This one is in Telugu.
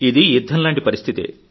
ఇది యుద్ధం లాంటి పరిస్థితే